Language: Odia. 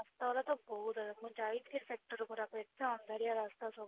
ତ ବହୁତ ମୁଁ ଯାଇଥିଲି sector ଏତେ ଅନ୍ଧାରିଆ ରାସ୍ତା ସବୁ